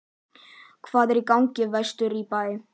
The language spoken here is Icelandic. Hvað er í gangi vestur í bæ?